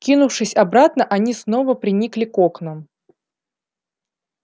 кинувшись обратно они снова приникли к окнам